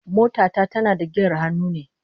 Mota ta tana da giyar hannu ne